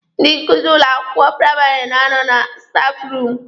Ndị nkuzi ụlọ akwụkwọ praịmarị na-anọ na stafụ ruumụ.